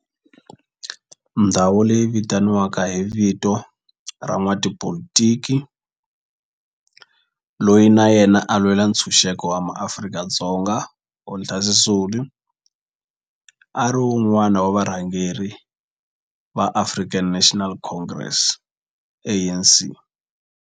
Ndhawo leyi yi vitaniwa hi vito ra n'watipolitiki loyi na yena a lwela ntshuxeko wa maAfrika-Dzonga Walter Sisulu, a ri wun'wana wa varhangeri va African National Congress, ANC.